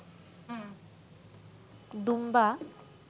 দুম্বা